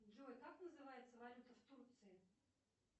джой как называется валюта в турции